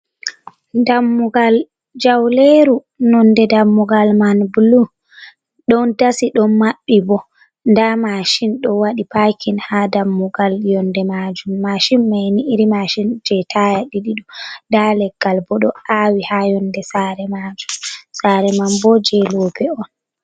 dammugal jauleru. nonde dammugal man bulu, don dasi don mabbi bo, nda mashin do wadi pakin ha dammugal yonde majum. mashin manni ,mashin je taya didi on nda leggal bo do awi ha yonde sare majum. sare man bo je lobe on.